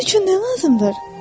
Bunun üçün nə lazımdır?